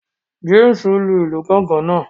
James lu ilu Gángan náà